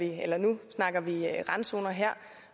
her nu snakker vi randzoner her